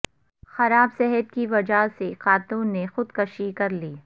خراب صحت کی وجہ سے خاتون نے خودکشی کرلی